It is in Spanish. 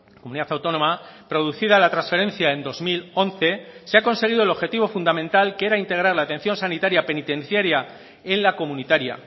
comunidad autónoma producida la transferencia en dos mil once se ha conseguido el objetivo fundamental que era integrar la atención sanitaria penitenciaria en la comunitaria